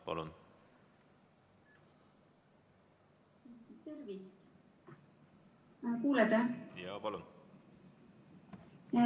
Palun!